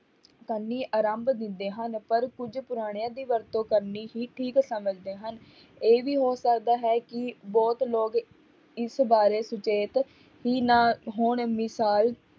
ਕਰਨੀ ਆਰੰਭ ਦਿੰਦੇ ਹਨ, ਪਰ ਕੁੱਝ ਪੁਰਾਣਿਆਂ ਦੀ ਵਰਤੋਂ ਕਰਨੀ ਹੀ ਠੀਕ ਸਮਝਦੇ ਹਨ, ਇਹ ਵੀ ਹੋ ਸਕਦਾ ਹੈ ਕਿ ਬਹੁਤ ਲੋਕ ਇਸ ਬਾਰੇ ਸੁਚੇਤ ਹੀ ਨਾ ਹੋਣ ਮਿਸ਼ਾਲ